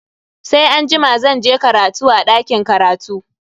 Sai anjima zan je karatu a dakin karatu.